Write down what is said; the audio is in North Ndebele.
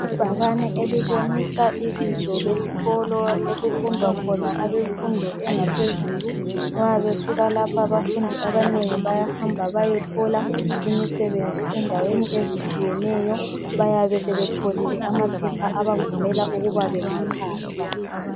Ibhakane elibonisa ibizo lesikolo okufundwa khona abemfundo engaphezulu. Nxa besuka lapha abafundi abanengi bayahamba bayethola imisebenzi endaweni ezitshiyeneyo, bayabesebetholile amaphepha abavumela ukuba bengaqhatshwa.